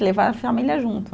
E levar a família junto.